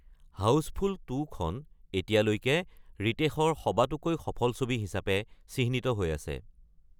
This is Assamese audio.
হাউজফুল ২ খন এতিয়ালৈকে ৰিতেশৰ সবাতোকৈ সফল ছবি হিচাপে চিহ্নিত হৈ আছে।